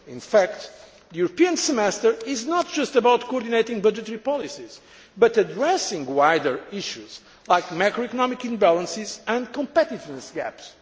Survey. In fact, the European Semester is not just about coordinating budgetary policies, but addressing wider issues like macroeconomic imbalances and competitiveness